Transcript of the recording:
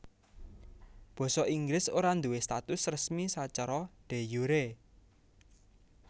Basa Inggris ora duwé status resmi sacara de jure